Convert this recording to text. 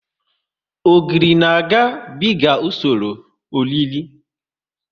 Ogiri na ga biga usoro ọ rire